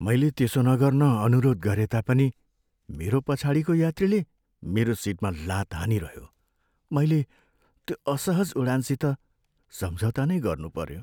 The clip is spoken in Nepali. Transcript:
मैले त्यसो नगर्न अनुरोध गरे तापनि मेरो पछाडिको यात्रीले मेरो सिटमा लात हानिरह्यो। मैले त्यो असहज उडानसित सम्झौता नै गर्नु पऱ्यो।